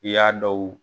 I y'a dɔw